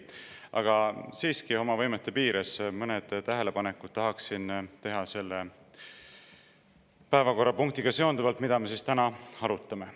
Aga siiski oma võimete piires mõned tähelepanekud tahaksin teha selle päevakorrapunktiga seonduvalt, mida me täna arutame.